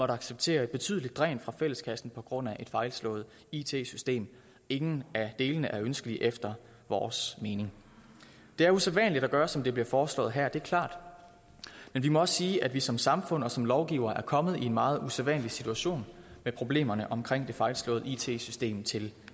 acceptere et betydeligt dræn fra fælleskassen på grund af et fejlslået it system ingen af delene er ønskeligt efter vores mening det er usædvanligt at gøre som det bliver foreslået her det er klart men vi må også sige at vi som samfund og som lovgivere er kommet i en meget usædvanlig situation med problemerne omkring det fejlslåede it system til